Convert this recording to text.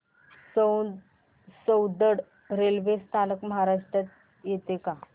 Soundad railway स्थानक महाराष्ट्रात येतं का